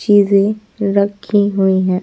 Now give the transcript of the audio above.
चीजें रखी हुई हैं।